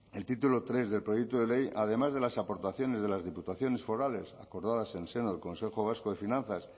el título tercero del proyecto de ley además de las aportaciones de las diputaciones forales acordadas en el seno del consejo vasco de finanzas